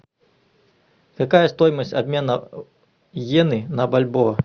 какая стоимость обмена йены на бальбоа